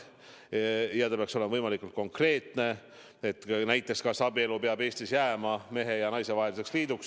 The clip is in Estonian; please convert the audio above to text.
Ja küsimus peaks olema võimalikult konkreetne, näiteks, kas abielu peab Eestis jääma mehe ja naise vaheliseks liiduks.